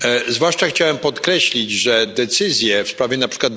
Zwłaszcza chciałem podkreślić, że decyzje w sprawie np.